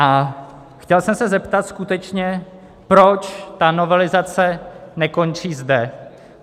A chtěl jsem se zeptat skutečně, proč ta novelizace nekončí zde.